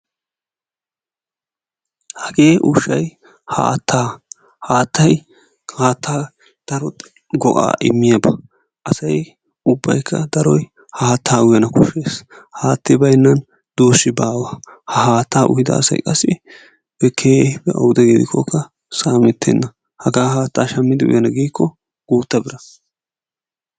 Hagee ushshay haattaa. Haattay haattaa daro go'aa immiyaba. Asay ubbaykka daroy haattaa uyana koshshees. Haatti baynan duussi bawa. Haattaa uyida asay qassi keehippe awude gidikokka saametenna. Hagaa haattaa shammidi uyana gikko gutta bira.